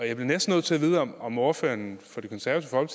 jeg bliver næsten nødt til at vide om om ordføreren for det konservative